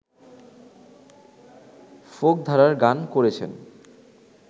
folk ধারার গান করেছেন